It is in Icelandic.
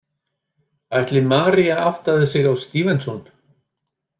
Ætli María áttaði sig á STEVENSON?